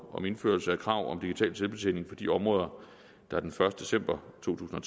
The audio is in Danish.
om indførelse af krav om digital selvbetjening på de områder der den første december to tusind og